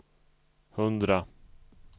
hundra